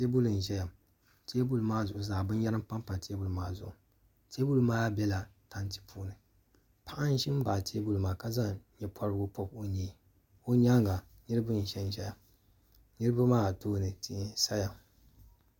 teebuli n ʒɛya ŋo teebuli maa zuɣu zaa binyɛra n panpa teebuli maa zuɣu teebuli maa biɛla tanti puuni paɣa n ʒi n baɣa teebuli maa ka zaŋ nyɛ pobirigu pobi o nyee o nyaanga niraba n ʒɛnʒɛya niraba maa tooni tihi n saya